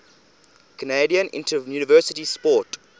canadian interuniversity sport